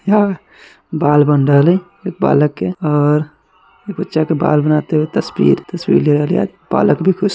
यहा बाल बन रहल हई बालक के और ये बच्चा के बाल बनाते हुए तस्वीर बालक भी खुश --